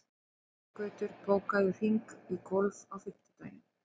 Þorgautur, bókaðu hring í golf á fimmtudaginn.